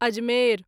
Ajmer